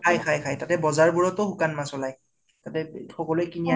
খাই খাই খাই। তাতে বজাৰ বোৰতো সুকান মাছ ওলাই। তাতে থবলৈ কিনি আনে ।